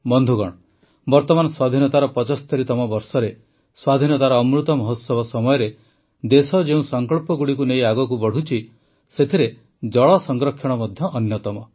ବନ୍ଧୁଗଣ ବର୍ତ୍ତମାନ ସ୍ୱାଧୀନତାର ୭୫ତମ ବର୍ଷରେ ସ୍ୱାଧୀନତାର ଅମୃତ ମହୋତ୍ସବ ସମୟରେ ଦେଶ ଯେଉଁ ସଂକଳ୍ପଗୁଡ଼ିକୁ ନେଇ ଆଗକୁ ବଢ଼ୁଛି ସେଥିରେ ଜଳ ସଂରକ୍ଷଣ ମଧ୍ୟ ଅନ୍ୟତମ